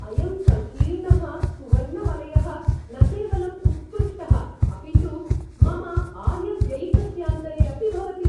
अयं सङ्कीर्णः सुवर्णवलयः न केवलम् उत्कृष्टः, अपि तु मम आयव्ययिकस्यान्तरे अपि भवति।